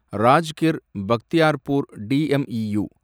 Rajgir Bakhtiyarpur DEMU